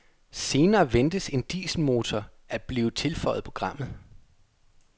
Senere ventes en dieselmotor at blive tilføjet programmet.